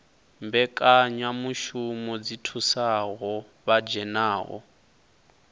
mbekanyamushumo dzi thusaho vha dzhenaho